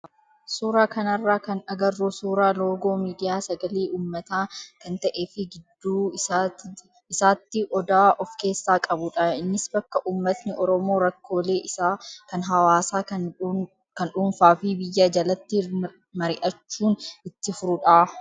Suuraa kanarraa kan agarru suuraa loogoo miidiyaa sagalee uummataa kan ta'ee fi gidduu isaatti odaa of keessaa qabudha. Innis bakka uummatni oromoo rakkoolee isaa kan hawaasaa, kan dhuunfaa fi biyyaa jalatti mari'achuun itti furudha.